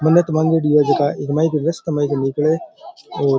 मनत मांगयोड़ी है जका इक मायने कर रस्ता मायने कर निकले और --